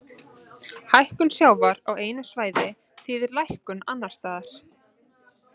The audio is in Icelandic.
Hækkun sjávar á einu svæði þýðir lækkun annars staðar.